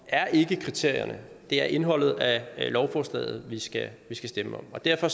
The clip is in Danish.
ikke kriterierne det er indholdet af lovforslaget vi skal stemme om og derfor